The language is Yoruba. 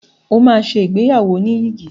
O máa ṣe ìgbéyàwó oníyìgì.